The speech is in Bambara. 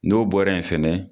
N'o bɔra yen fɛnɛ.